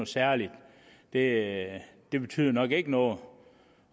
særligt det det betyder nok ikke noget